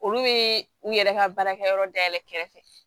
Olu bɛ u yɛrɛ ka baarakɛyɔrɔ dayɛlɛ kɛrɛfɛ